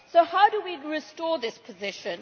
So how do we restore this position?